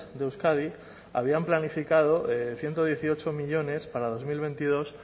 de euskadi habían planificado ciento dieciocho millónes para dos mil veintidós